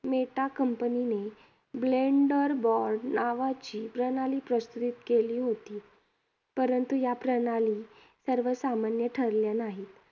Meta कंपनीने, BlenderBot नावाची प्रणाली प्रस्तुत केली होती. परंतु या प्रणाली सर्वसामान्य ठरल्या नाहीत.